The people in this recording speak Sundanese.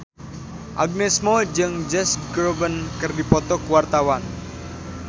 Agnes Mo jeung Josh Groban keur dipoto ku wartawan